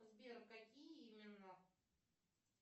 сбер какие именно